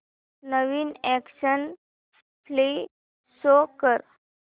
नवीन action flick show कर